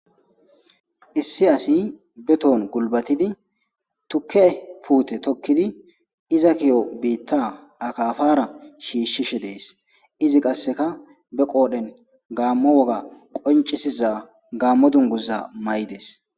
Issi asi be tohon gulbatidi tukke puute tokkidi iza kiyo biitta akafara shiishshishe dees. Izi qasseka be qoodhen gaammo woga qoncisiza gaammo dunguza may'ides.